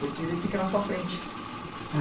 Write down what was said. Porque ele fica na sua frente.